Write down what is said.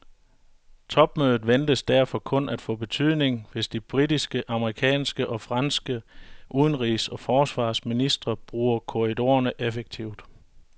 Topmødet ventes derfor kun at få betydning, hvis de britiske, amerikanske og franske udenrigs og forsvarsministre bruger korridorerne effektivt.